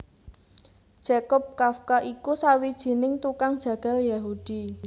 Jakob Kafka iku sawijining tukang jagal Yahudi